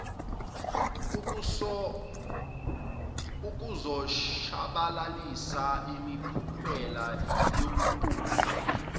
ukuzoshabalalisa imiphumela yobuphofu